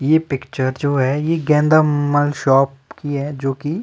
ये पिक्चर जो है ये गेंदा मॉल शॉप की है जो की --